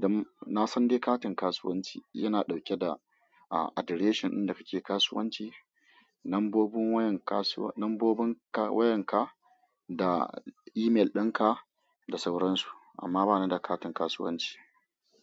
dan na san dai katin kasuwanci yana ɗauke da, adireshin in da kake kasuwanci, lambobin wayan kasuwa, lambobin ka wayan ka da email ɗin ka da sauransu. Amma ba ni da katin kasuwanci.